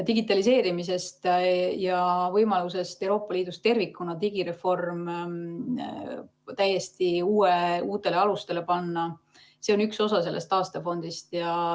Digitaliseerimisest ja võimalusest Euroopa Liidus tervikuna digireform täiesti uutele alustele panna – see on üks osa sellest taastefondist.